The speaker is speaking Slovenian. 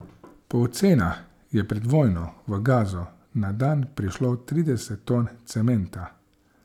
Po ocenah je pred vojno v Gazo na dan prišlo trideset ton cementa.